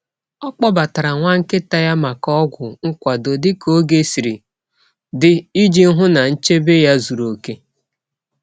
Ọ kpọbatara nwa nkịta ya maka ọgwụ nkwado dị ka oge siri dị iji hụ na nchebe ya zuru oke.